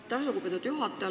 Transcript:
Aitäh, lugupeetud juhataja!